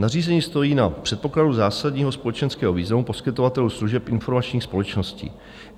Nařízení stojí na předpokladu zásadního společenského významu poskytovatelů služeb informační společnosti.